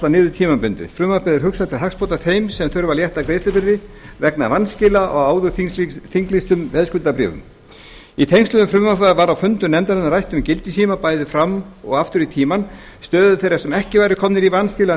niður tímabundið frumvarpið er hugsað til hagsbóta fyrir þá sem þurfa að létta greiðslubyrði vegna vanskila á áður þinglýstum fasteignaveðskuldabréfum í tengslum við frumvarpið var á fundum nefndarinnar rætt um gildistíma bæði fram og aftur í tímann stöðu þeirra sem ekki eru komnir í vanskil